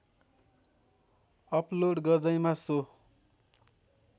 upload गर्दैमा so